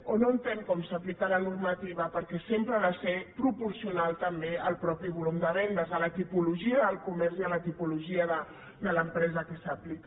o no entén com s’aplica la normativa perquè sempre ha de ser proporcional també al mateix volum de vendes a la tipologia del comerç i a la tipologia de l’empresa que s’aplica